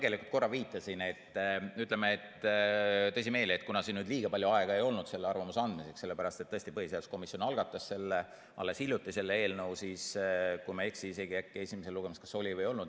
Ma tegelikult korra viitasin, tõsimeeli, et kuna nüüd liiga palju aega ei olnud selle arvamuse andmiseks – sellepärast et põhiseaduskomisjon algatas selle eelnõu alles hiljuti –, siis, kui ma ei eksi, isegi äkki esimesel lugemisel kas oli või ei olnud.